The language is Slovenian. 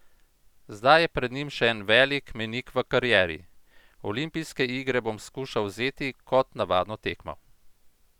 Zdaj je pred njim še en velik mejnik v karieri: "Olimpijske igre bom skušal vzeti kot navadno tekmo.